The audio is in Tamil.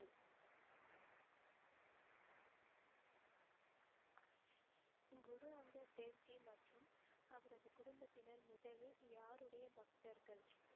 குரு அங்கர் தேவ்ஜி மற்றும் அவரது குடும்பத்தினர் முதலில் யாருடைய பக்தர்கள்